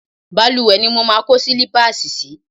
Balùwẹ̀ ni mo máa kó sílípáàsì sì í.